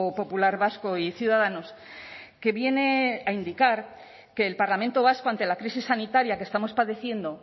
popular vasco y ciudadanos que viene a indicar que el parlamento vasco ante la crisis sanitaria que estamos padeciendo